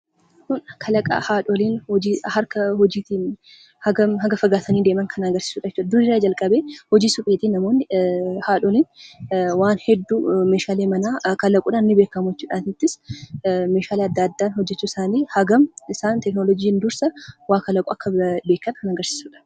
Kun kalaqa haadholiin hojii harkaatiin hangam akka fagaatanii deeman kan agarsiisuudha jechuudha. Dur irraa jalqabeen hojii supheetiin namoonni, haadholiin waan hedduu meeshaalee manaa kalaquudhaan ni beekamu jechuudha. Asittis meeshaalee adda addaa hojjechuu isaaniitiin hagam isaan 'teekinooliijii'n dursa waa kalaquu akka beekan kan agarsiisuudha.